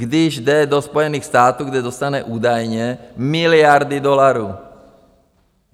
Když jde do Spojených států, kde dostane údajně miliardy dolarů...